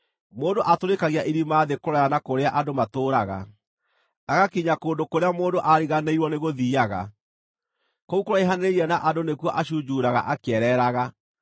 Mũndũ atũrĩkagia irima thĩ kũraya na kũrĩa andũ matũũraga, agakinya kũndũ kũrĩa mũndũ aariganĩirwo nĩgũthiiaga; kũu kũraihanĩrĩirie na andũ nĩkuo acunjuuraga akĩereeraga.